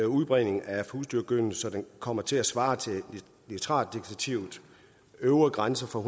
udbredning af husdyrgødning så den kommer til at svare til nitratdirektivets øvre grænse på